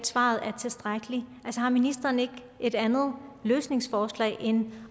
svaret er tilstrækkeligt altså har ministeren ikke et andet løsningsforslag end